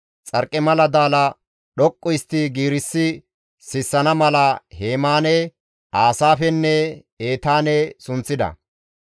Xarqimala daala dhoqqu histti giirissi sissana mala Hemaane, Aasaafenne Etaane sunththida.